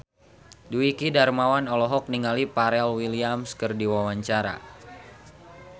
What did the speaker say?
Dwiki Darmawan olohok ningali Pharrell Williams keur diwawancara